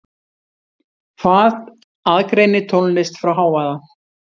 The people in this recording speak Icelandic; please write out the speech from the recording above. Hvað aðgreinir tónlist frá hávaða?